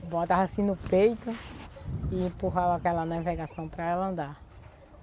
Botava assim no peito e empurrava aquela navegação para ela andar.